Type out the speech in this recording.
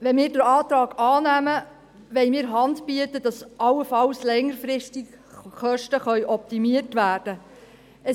Wenn wir den Antrag annehmen, wollen wir Hand bieten, damit allenfalls längerfristig die Kosten optimiert werden können.